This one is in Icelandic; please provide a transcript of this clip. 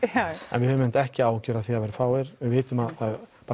en við höfum einmitt ekki áhyggjur af því að það verði fáir við vitum að